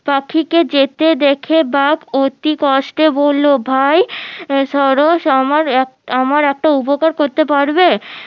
পাখিকে যেতে দেখে বাঘ অতি কষ্টে বললো ভাই আহ সরস আমার একটা আমার একটা উপকার করতে পারবে